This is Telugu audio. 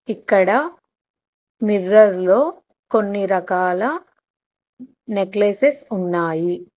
ఇక్కడ మిర్రర్ లో కొన్ని రకాల నెక్లెసెస్ ఉన్నాయి.